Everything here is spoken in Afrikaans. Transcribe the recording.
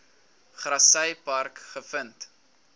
grassy park gevind